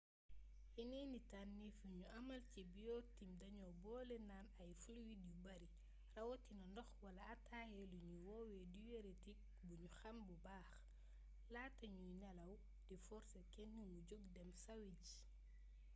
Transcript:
yeneeni tànnéef yuñu amal ci biorhytm dañoo boole naan ay fluide yu bari rawatina ndox wala ataaya luñuy woowee diurétique buñu xàm bu baax laata ñuy nelaw di forsé kenn mu jog dem sàwi ji